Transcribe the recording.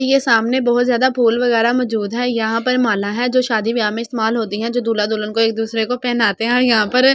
ये सामने बहुत ज्यादा फूल वगेरा मौजूद है यहाँ पर माला है जो सदी व्याह में इस्तमाल होती है जो दूल्हा दुल्हन को एक दुसरे को पहनाते है और यहाँ पर और भी फू--